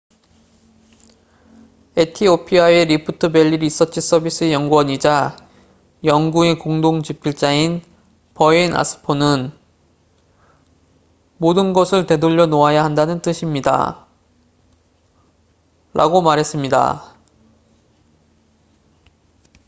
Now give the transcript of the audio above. "에티오피아의 리프트 밸리 리서치 서비스의 연구원이자 연구의 공동 집필자인 버헤인 아스포는 "모든 것을 되돌려 놓아야 한다는 뜻입니다""라고 말했습니다.